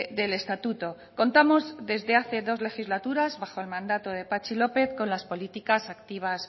del estatuto contamos desde hace dos legislaturas bajo el mandato de patxi lópez con las políticas activas